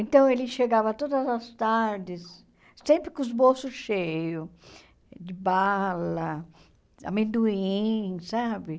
Então, ele chegava todas as tardes, sempre com os bolsos cheios de bala, amendoim, sabe?